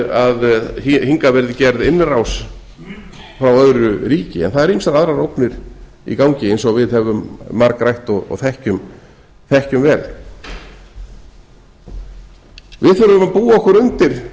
að hingað verði gerð innrás frá öðru ríki en það eru ýmsar aðrar ógnir í gangi eins og við höfum margrætt og þekkjum vel við þurfum að búa okkur undir